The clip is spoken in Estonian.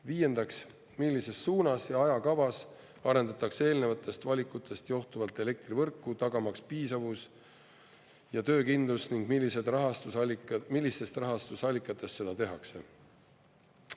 Viiendaks, millises suunas ja ajakavas arendatakse eelnevatest valikutest johtuvalt elektrivõrku, tagamaks piisavus ja töökindlus ning millistest rahastusallikatest seda tehakse.